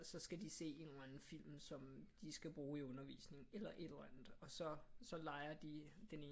Så skal de se en eller anden film som de skal bruge i undervisningen eller et eller andet og så lejer de den ene